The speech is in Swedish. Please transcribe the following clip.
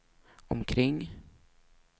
omkring